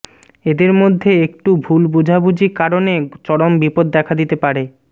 এদের মধ্যে একটু ভুল বোঝাবুঝি কারণে চরম বিপদ দেখা দিতে পারে